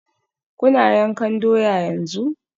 Kuna yankan doya yanzu?